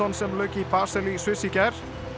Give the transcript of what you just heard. sem lauk í Basel í Sviss í gær